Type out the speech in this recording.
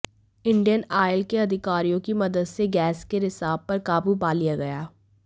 Indian oil के अधिकारियों की मदद से गैस के रिसाव पर काबू पा लिया गया